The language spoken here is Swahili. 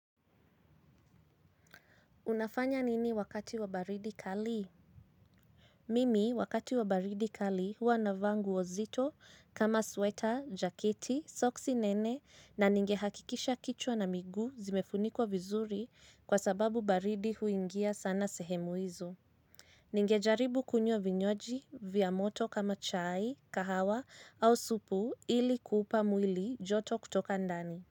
Unafanya nini wakati wa baridi kali? Mimi wakati wa baridi kali huwa navaa nguo nzito kama sweater, jaketi, soksi nene na ningehakikisha kichwa na miguu zimefunikwa vizuri kwa sababu baridi huingia sana sehemu izo. Ningejaribu kunywa vinywaji vya moto kama chai, kahawa au supu ili kuupa mwili joto kutoka ndani.